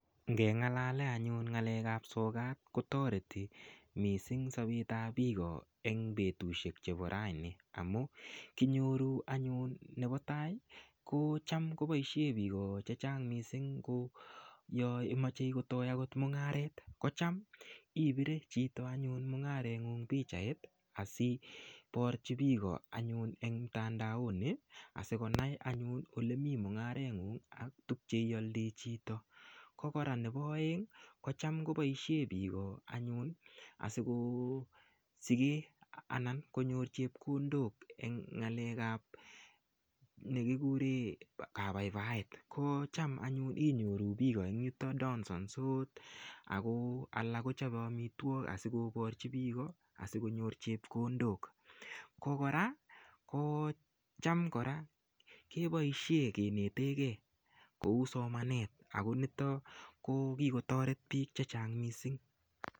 Ngengalale anyun ng'alek ap sokat kotoreti mising sobet ap biko eng betushek chebo raini kinyoru anyun nebo tai ko cham koboishe biko che chang mising yomochei kotoi akot mung'aret kocham ipire chito anyun mungaretngu pichait asiporchi biiko anyun eng mtandaoni asikonai anyun olemii mung'aret ng'ung' ak tukche ioldii chito ko kora nebo oeng ko cham koboishe biko anyun asikosikee anan konyor chepkondok eng ng'alek ap nekikure kabaibaet ko cham anyun inyoru biiko eng yuto donsonsot ako alak kochopei amitwok asikokochi biiko asikonyor chepkondok ko kora kocham kora keboishe kenetekei kou somanet ako nitok ko kikotoret biik che chang mising.